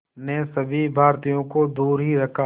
ने सभी भारतीयों को दूर ही रखा